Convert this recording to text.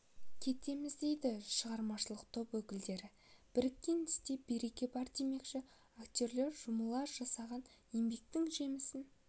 кетеміз дейді шығармашылық топ өкілдері біріккен істе береке бар демекші актерлар жұмыла жасаған еңбектің жемісін